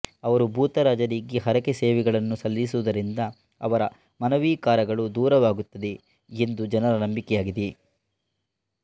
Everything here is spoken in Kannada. ಅವರು ಭೂತರಾಜರಿಗೆ ಹರಕೆಸೇವೆಗಳನ್ನು ಸಲ್ಲಿಸುವುದರಿಂದ ಅವರ ಮನೋವಿಕಾರಗಳು ದೂರವಾಗುತ್ತದೆ ಎಂದು ಜನರ ನಂಬಿಕೆಯಾಗಿದೆ